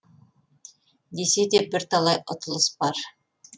десе де бірталай ұтылыс бар